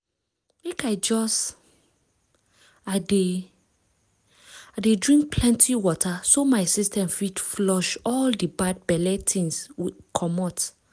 make i just pause. i dey pause. i dey drink plenty water so my system fit flush all the bad belle things comot